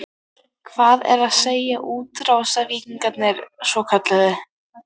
Það er að segja, útrásarvíkingarnir svokölluðu?